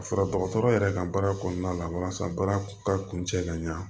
Ka fara dɔgɔtɔrɔ yɛrɛ kan baara kɔnɔna la walasa baara ka kun cɛ ka ɲa